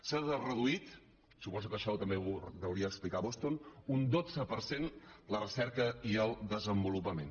s’ha reduït suposo que això també ho deuria explicar a boston un dotze per cent la recerca i el desenvolupament